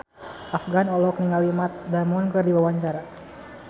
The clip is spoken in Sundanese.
Afgan olohok ningali Matt Damon keur diwawancara